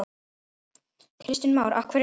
Kristján Már: Af hverju ekki?